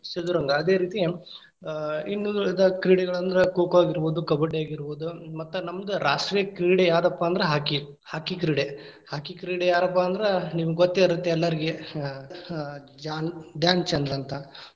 ಚದುರಂಗ, ಅದೇ ರೀತಿ ಆ ಇನ್ನುಳಿದ ಕ್ರೀಡೆಗಳಂದ್ರ ಕೋ~ ಕೋ ಆಗಿದಬೋದು, ಕಬಡ್ಡಿ ಆಗಿರ್ಬೋದು , ಮತ್ತ ನಮ್ದ್‌ ರಾಷ್ಟ್ರೀಯ ಕ್ರೀಡೆ ಯಾದಪ್ಪಾ ಅಂದ್ರ ಹಾಕಿ.,ಹಾಕಿ ಕ್ರೀಡೆ. ಹಾಕಿ ಕ್ರೀಡೆ ಯಾರಪ್ಪಾ ಅಂದ್ರ ನಿಮಗ್‌ ಗೋತ್ತೇ ಇರತ್ತೇ ಎಲ್ಲಾರ್ಗೀ ಹಾ ಹಾ ಜಾನ್‌ ಧ್ಯಾನ್ ಚಂದ್ ಅಂತಾ.